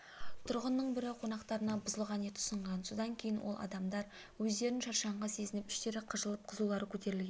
тұрғынның бірі қонақтарына бұзылған ет ұсынған содан кейін ол адамдар өздерін шаршаңқы сезініп іштері қыжылдап қызулары көтерілген